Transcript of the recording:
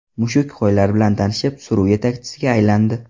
Mushuk qo‘ylar bilan tanishib, suruv yetakchisiga aylandi.